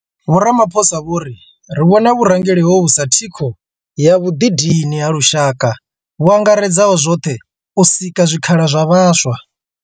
Vho Ramaphosa vho ri, Ri vhona vhurangeli hovhu sa thikho ya vhuḓidini ha lushaka vhuangaredzaho zwoṱhe u sika zwikhala zwa vhaswa.